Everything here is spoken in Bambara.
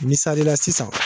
Misalila sisan